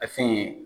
A fɛn